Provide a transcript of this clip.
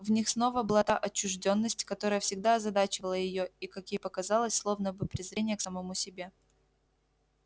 в них снова была та отчуждённость которая всегда озадачивала её и как ей показалось словно бы презрение к самому себе